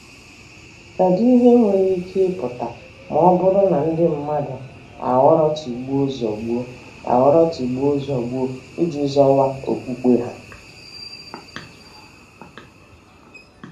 Kedụ ihe nwere ike ịpụta ma ọ bụrụ na ndị mmadụ aghọrọ tigbuo-zọgbuo aghọrọ tigbuo-zọgbuo iji zọwa okpukpe ha?